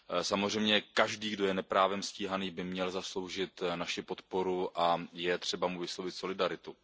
Samozřejmě každý, kdo je neprávem stíhaný, by měl zasloužit naši podporu a je třeba mu vyslovit solidaritu.